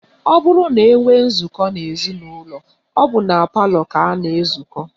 Ọ bụrụ na enwee nzụkọ n'ezinụlọ, ọ bụ na palọ ka a na-ezukọ